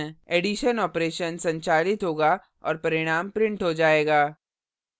addition operation संचालित होगा और परिणाम printed हो जाएगा